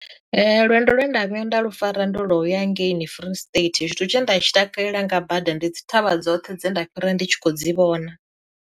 Lwendo lwe nda vhuya nda lu fara ndo ḽoyara ngei ni Free state tshithu tshe nda tshi takalela nga bada ndi dzi thavha dzoṱhe dze nda fhira ndi tshi kho dzi vhona.